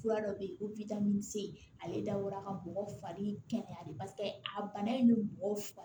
Fura dɔ bɛ yen ko ale dabɔra ka bɔgɔ fari kɛ tan de paseke a bana in bɛ bɔgɔ